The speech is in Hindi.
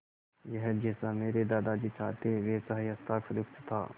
यह जैसा मेरे दादाजी चाहते थे वैसा ही हस्ताक्षरयुक्त था